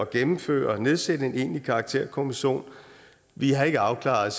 gennemføre og nedsætte en egentlig karakterkommission vi har ikke afklaret